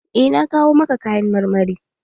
Eh, na kawo maka kayan marmari.